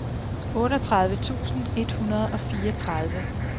otteogtredive tusind et hundrede og fireogtredive